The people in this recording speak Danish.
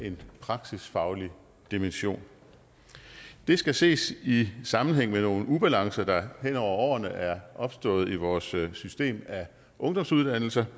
en praksisfaglig dimension det skal ses i sammenhæng med nogle ubalancer der hen over årene er opstået i vores system af ungdomsuddannelser